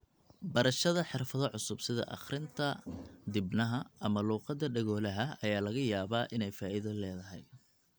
Barashada xirfado cusub sida akhrinta dibnaha ama luqadda dhegoolaha ayaa laga yaabaa inay faa'iido leedahay.